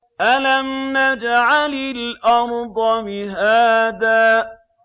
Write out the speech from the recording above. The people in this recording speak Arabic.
أَلَمْ نَجْعَلِ الْأَرْضَ مِهَادًا